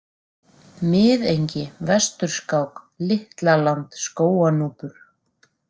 Miðengi, Vesturskák, Litla-Land, Skóganúpur